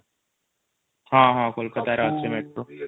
ହଁ କୋଲକାତା ରେ ଅଛି ମେଟ୍ରୋ |